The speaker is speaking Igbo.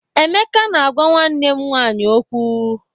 Emeka na-agwa nwanne m nwanyị okwu.